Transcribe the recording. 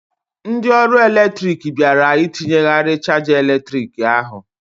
Ndị ọrụ eletrik bịara ịtinyeghari chaja eletrik ahụ.